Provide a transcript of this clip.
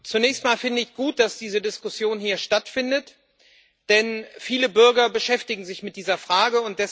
Zunächst mal finde ich es gut, dass diese Diskussion hier stattfindet, denn viele Bürger beschäftigen sich mit dieser Frage.